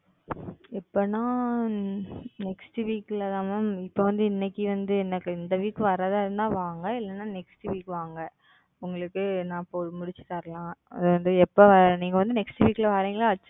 எப்போனா? Next Week ல தான் Ma'am இப்போ வந்து இன்னைக்கு வந்து இந்த Week வரதாக இருந்தா வாங்க. இல்லனா Next Week வாங்க உங்களுக்கு நா முடிச்சி தரலாம். எப்போ நீங்க வந்து Next Week வரீங்களா?